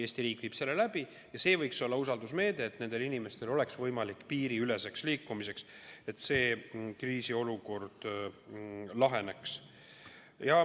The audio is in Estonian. Eesti riik viib selle läbi ja see võiks olla usaldusmeede, et nendel inimestel oleks võimalik piiriüleselt liikuda, et see kriisiolukord laheneks.